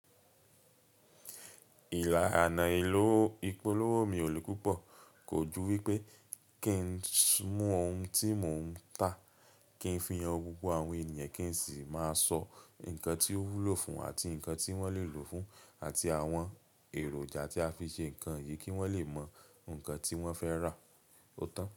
Ìlà àná ìpolówó mi ò le púpọ̀, kò ju wípé kí n mú ohun tí mò ń tà, kí n fi han gbogbo àwọn ènìyàn, kí n sì máa sọ nǹkan tí ó wúlò fún àti nǹkan tí wọ́n lè lòó fún àti àwọn èròjà tí a fi ṣe nǹkan yìí kí wọ́n lè mọ nǹkan tí wọ́n fẹ́ rà. Ó tán?